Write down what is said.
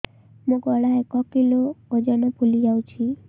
ମୋ ଗଳା ଏକ କିଲୋ ଓଜନ ଫୁଲି ଯାଉଛି